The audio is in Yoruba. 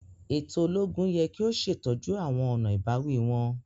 Eto ologun yẹ ki o ṣetọju awọn ọna ibawi wọn.